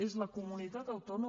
és la comunitat autònoma